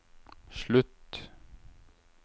slutt